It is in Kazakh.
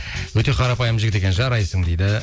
өте қарапайым жігіт екен жарайсың дейді